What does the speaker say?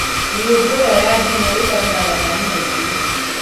Mĩũngũrwa ya ndimũ ĩbataraga maĩ maingĩ